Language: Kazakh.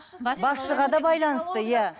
басшыға да байланысты иә